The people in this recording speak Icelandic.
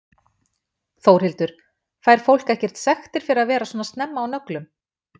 Þórhildur: Fær fólk ekkert sektir fyrir að vera svona snemma á nöglum?